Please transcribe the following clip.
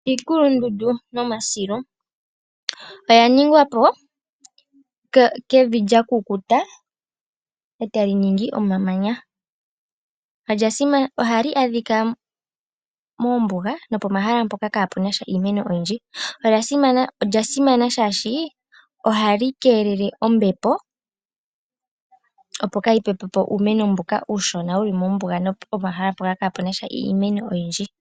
Iikulundundu nomasilu oya ningwa po kevi lya kukuta e tali ningi omamanya. Ohali adhika moombuga nopomahala mpoka kaapu na sha iimeno oyindji. Olya simana, shaashi ohali keelele ombepo, opo kaayi pepe po uumeno mboka uushona wu li mombuga nopomahala mpoka kaapu na sha iimeno oyindji.